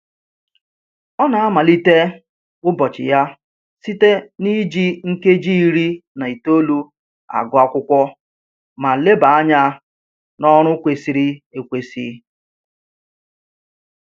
Ọ na-amalite ụbọchị ya site na-iji nkeji iri na itoolu agụ akwụkwọ ma leba anya n'ọrụ kwesịrị ekwesị